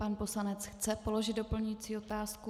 Pan poslanec chce položit doplňující otázku.